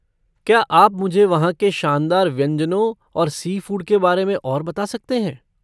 क्या आप मुझे वहाँ के शानदार व्यंजनों और सी फूड के बारे में और बता सकते हैं?